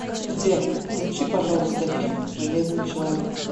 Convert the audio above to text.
сбер включи пожалуйста фильм железный человек